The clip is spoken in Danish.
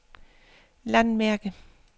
landmærke